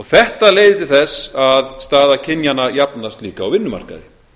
þetta leiðir til þess að staða kynjanna jafnast líka á vinnumarkaði